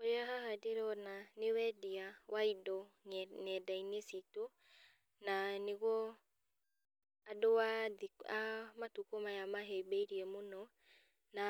Ũrĩa haha ndĩrona nĩ wendia wa indo ne nendainĩ citũ, na nĩguo andũ a thikũ a matukũ maya mahĩmbĩirie mũno, na